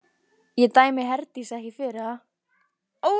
Ég dæmi Herdísi ekki fyrir það.